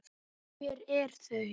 Og hver eru þau?